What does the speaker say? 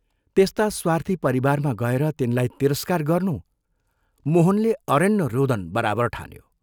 त्यस्ता स्वार्थी परिवारमा गएर तिनलाई तिरस्कार गर्नु मोहनले अरण्यरोदन बराबर ठान्यो।